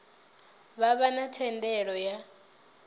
vha vha na thendelo ya